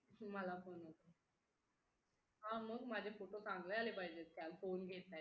हा मग माझे photo चांगले आले पाहिजे त्या phone वरून